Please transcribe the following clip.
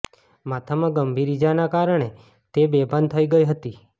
માથામાં ગંભીર ઈજાના કારણે તે બેભાન થઈ ગઈ હતી